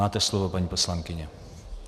Máte slovo, paní poslankyně.